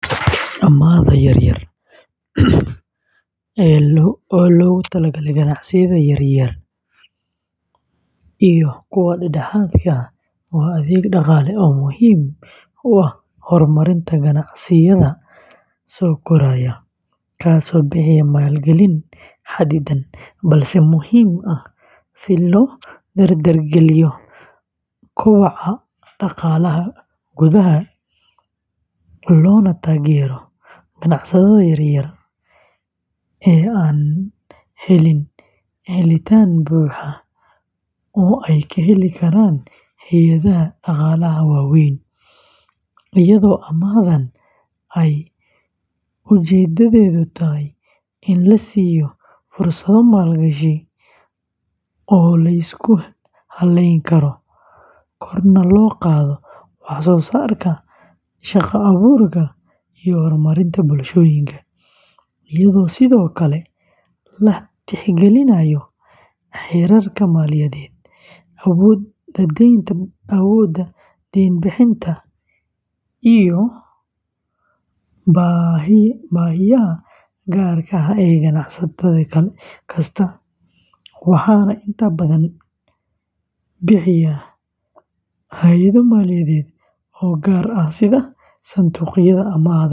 Amaahda yar-yar ee loogu talagalay ganacsiyada yaryar iyo kuwa dhexdhexaadka ah waa adeeg dhaqaale oo muhiim u ah horumarinta ganacsiyada soo koraya, kaasoo bixiyaa maalgelin xadidan balse muhiim ah si loo dardargeliyo koboca dhaqaalaha gudaha, loona taageero ganacsatada yar-yar ee aan helin helitaan buuxa oo ay ka heli karaan hay’adaha dhaqaalaha waaweyn, iyadoo amaahdan ay ujeedadeedu tahay in la siiyo fursado maalgashi oo la isku halleyn karo, korna loo qaado wax-soo-saarka, shaqo-abuurka, iyo horumarinta bulshooyinka, iyadoo sidoo kale la tixgelinayo xeerarka maaliyadeed, awoodda deyn-bixinta, iyo baahiyaha gaarka ah ee ganacsade kasta, waxaana inta badan bixiya hay’ado maaliyadeed oo gaar ah sida sanduuqyada amaahda.